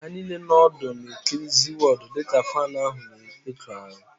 Ha niile nọ ọdụ na-ekiri ZịWọọdụ dịka faanụ ahụ na-ekụghari